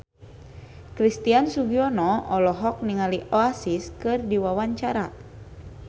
Christian Sugiono olohok ningali Oasis keur diwawancara